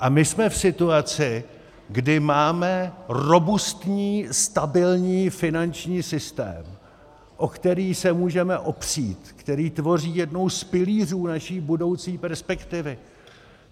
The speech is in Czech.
A my jsme v situaci, kdy máme robustní, stabilní finanční systém, o který se můžeme opřít, který tvoří jeden z pilířů naší budoucí perspektivy.